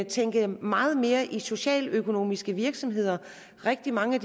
tænke meget mere i socialøkonomiske virksomheder rigtig mange